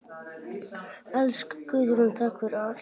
Elsku Guðrún, takk fyrir allt.